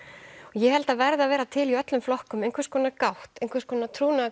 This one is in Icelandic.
ég held að það verði að vera til í öllum flokkum einhvers konar gátt einhvers konar